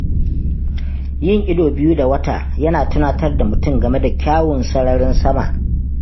Yin ido biyu da wata yana tunatar da mutum game da kyawun sararin sama.